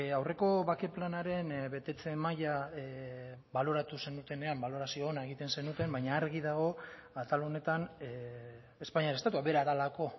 aurreko bake planaren betetze maila baloratu zenutenean balorazio ona egiten zenuten baina argi dago atal honetan espainiar estatua bera delako